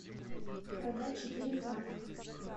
продать четыре франка